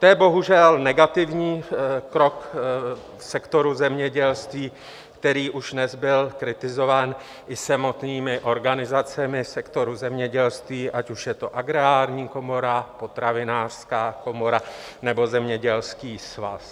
To je bohužel negativní krok v sektoru zemědělství, který už dnes byl kritizován i samotnými organizacemi sektoru zemědělství, ať už je to Agrární komora, Potravinářská komora nebo Zemědělský svaz.